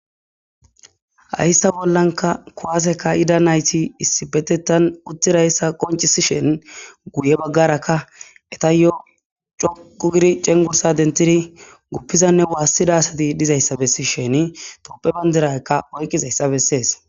hayssa bollanka kowaseka ida nayti issibetetan uttirayssa qoncisi shen guye baggaraka eta yo coqu giri cengursa dentidi guppizanne waassidasati dizayssa bessi sheni toppe bandirakka oykqizayssa bessees